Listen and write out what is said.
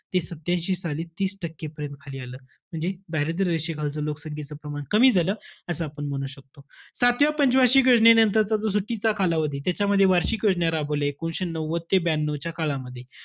ते सातत्यांशी साली तीस टक्के पर्यंत खाली आलं. म्हणजे दारिद्र्य रेषेखालच लोकसंख्येचं प्रमाण कमी झालं, असं आपण म्हणू शकतो. सातव्या पंच वार्षिक योजनेनंतरचा जो सुट्टीचा कालावधी त्याच्यामध्ये वार्षिक योजना राबवली. एकोणीशे नव्वद ते ब्यानऊच्या काळामध्ये.